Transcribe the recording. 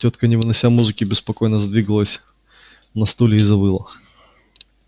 тётка не вынося музыки беспокойно задвигалась на стуле и завыла